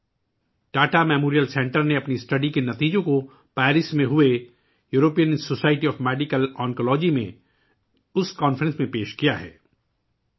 Tata memorial centre نے Paris میں European society of medical oncology oncology conference میں اپنے مطالعے کے نتائج پیش کیے ہیں